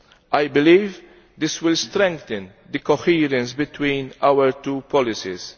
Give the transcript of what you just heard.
I believe this will strengthen the coherence between our two policies.